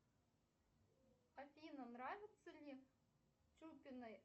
афина нравится ли чупиной